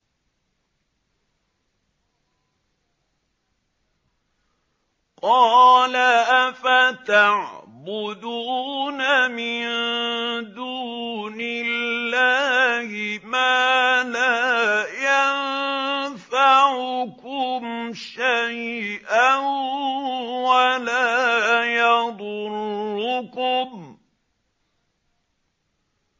قَالَ أَفَتَعْبُدُونَ مِن دُونِ اللَّهِ مَا لَا يَنفَعُكُمْ شَيْئًا وَلَا يَضُرُّكُمْ